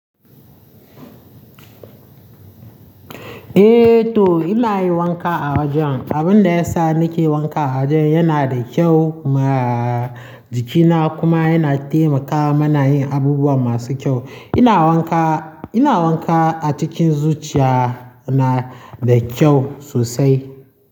Eh to ina yin wanka a wajen. Abun da ya sa nake wanka a wajen yana da kyau ma jikina kuma yana taimakawa muna yin abubuwa masu kyau. Ina wanka, ina wanka a cikin zuciya na da kyau sosai.